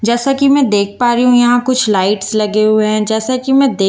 जैसा की मैं देख पा रही हूँ यहाँ कुछ लाइट्स लगे हुए हैं जैसा की मैं देख --